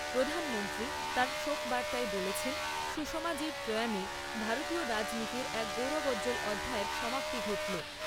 প্রধানমন্ত্রী তাঁর শোকবার্তায় বলেছেন, সুষমাজির প্রয়াণে ভারতীয় রাজনীতির এক গৌরবোজ্জ্বল অধ্যায়ের সমাপ্তি ঘটল।